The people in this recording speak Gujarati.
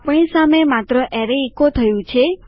આપણી સામે માત્ર અરે ઇકો થયું છે